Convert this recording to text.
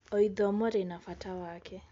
O ithomo rĩna bata wake.